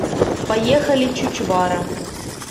поехали чучвара